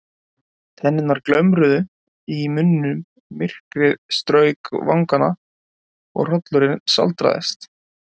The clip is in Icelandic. Tennurnar glömruðu í munninum, myrkrið strauk vangana og hrollurinn sáldraðist.